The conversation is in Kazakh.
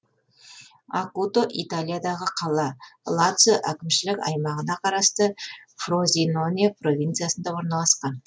акуто италиядағы қала лацио әкімшілік аймағына қарасты фрозиноне провинциясында орналасқан